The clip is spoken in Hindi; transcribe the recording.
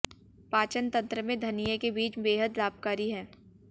पाचन तंत्र में धनिए के बीज बेहद लाभकारी हैं